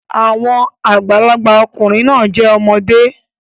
Àwọn àgbàlagbà ọkùnrin náà jẹ́ ọmọdé